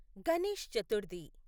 Ganesh Chaturthi